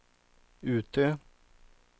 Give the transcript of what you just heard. Utö